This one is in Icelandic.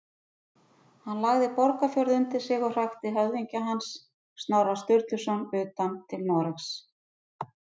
Hann lagði Borgarfjörð undir sig og hrakti höfðingja hans, Snorra Sturluson, utan til Noregs.